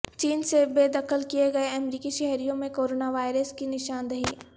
چین سے بے دخل کیے گئےامریکی شہریوں میں کورونا وائرس کی نشاندہی